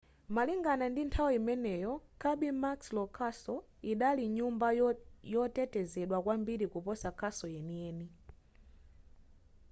malingana ndi nthawi imeneyo kirby muxloe castle idali nyumba yotetezedwa kwambiri kuposa castle yeniyeni